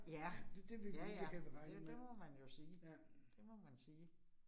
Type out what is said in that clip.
Ja. Ja ja, det det må man jo sige. Det må man sige